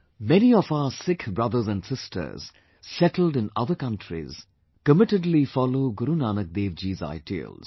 Many of our Sikh brothers and sisters settled in other countries committedly follow Guru Nanak dev ji's ideals